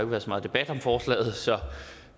været så meget debat om forslaget så